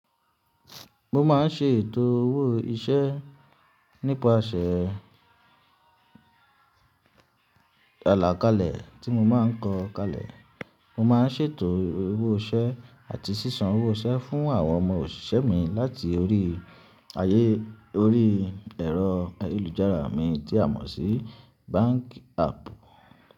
Mo máa ń ṣètò owó iṣẹ́ nípasẹ̀ alàkalẹ̀ tí mo máa ń kọ kalẹ̀. Mo máa ń ṣètò owó iṣẹ́ àti ṣíṣán owó iṣẹ́ fún àwọn ọmọ òṣìṣẹ́ mi láti orí ayé orí ẹ̀rọ ayélujára mi tí a mọ̀ sí bank app.